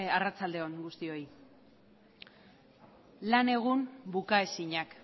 arratsalde on guztioi lan egun bukaezinak